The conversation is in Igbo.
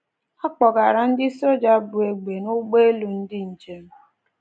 A kpọgara ndị soja bu egbe n’ụgbọelu ndị njem.